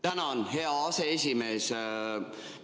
Tänan, hea aseesimees!